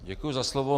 Děkuji za slovo.